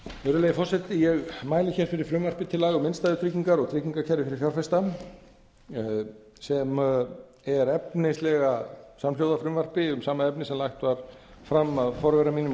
virðulegi forseti ég mæli fyrir frumvarpi til laga um innstæðutryggingar og tryggingakerfi fyrir fjárfesta sem er efnislega samhljóða frumvarpi um sama efni sem lagt var fram af forvera mínum á